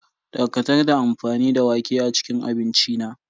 Dakatar da amfani da wake a cikin abinci na.